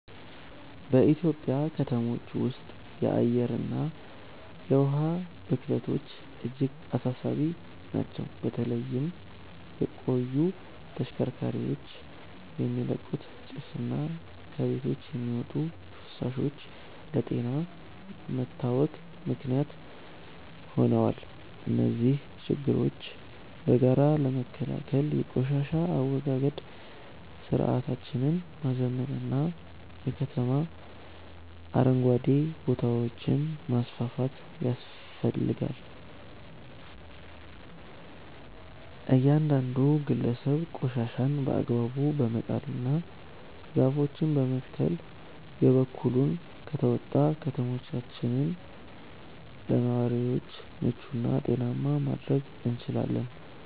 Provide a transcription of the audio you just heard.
በኢትዮጵያ ከተሞች ውስጥ የአየርና የውሃ ብክለቶች እጅግ አሳሳቢ ናቸው። በተለይም የቆዩ ተሽከርካሪዎች የሚለቁት ጭስና ከቤቶች የሚወጡ ፍሳሾች ለጤና መታወክ ምክንያት ሆነዋል። እነዚህን ችግሮች በጋራ ለመከላከል የቆሻሻ አወጋገድ ስርዓታችንን ማዘመንና የከተማ አረንጓዴ ቦታዎችን ማስፋፋት ያስፈልጋል። እያንዳንዱ ግለሰብ ቆሻሻን በአግባቡ በመጣልና ዛፎችን በመትከል የበኩሉን ከተወጣ፣ ከተሞቻችንን ለነዋሪዎች ምቹና ጤናማ ማድረግ እንችላለን።